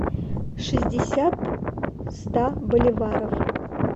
шестьдесят ста боливаров